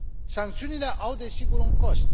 Sancțiunile au desigur un cost.